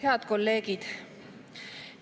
Head kolleegid!